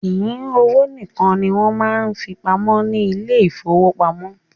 Kìí owó nìkan ní wọn máa ń fí pamọ́ ní ile-ìfowópamó